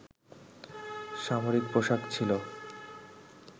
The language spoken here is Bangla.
সামরিক পোশাক ছিল